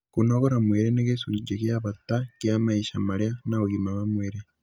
Kũnogora mwĩrĩ nĩ gĩcunjĩ gĩa bata kĩa maica marĩa na ũgima wa mwĩrĩ.